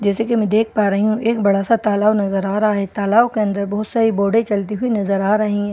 जैसे की मैं देख पा रही हूं एक बड़ा सा तालाव नजर आ रहा है तालाव के अंदर बहोत सारी बोडे चलती हुई नजर आ रही है।